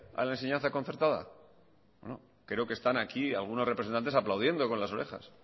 a la enseñanza concertada bueno creo que están aquí algunos representantes aplaudiendo con las orejas